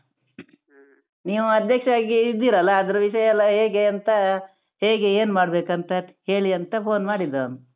ನೀವ್ ಅಧ್ಯಕ್ಷರಾಗಿದ್ದೀರಲ್ಲಾ ಅದರ ವಿಷಯ ಎಲ್ಲಾ ಹೇಗೆ ಅಂತ ಹೇಗೆ ಏನ್ಮಾಡ್ಬೇಕಂತ ಹೇಳಿ ಅಂತ phone ಮಾಡಿದೊಂದು.